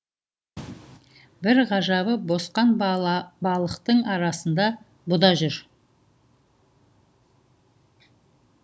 бір ғажабы босқан балықтың арасында бұ да жүр